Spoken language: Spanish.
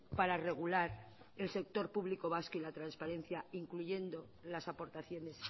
para regular el sector público vasco y la transparencia incluyendo las aportaciones